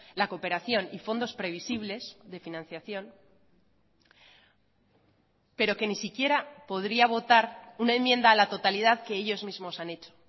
la cooperación y fondos previsibles de financiación pero que ni siquiera podría votar una enmienda a la totalidad que ellos mismos han hecho